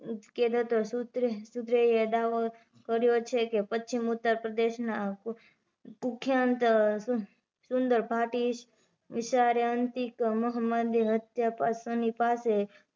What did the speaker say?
કે સુત્રે સૂત્રે એ દાવો કર્યો છે કે પશ્ચિમ ઉતરપ્રદેશ ના પુખયાન્ત સુદરભાટી વીસારીયા અંતિક અહમદ ની હત્યા સન્ની પાસે